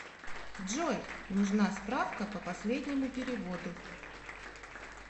джой нужна справка по последнему переводу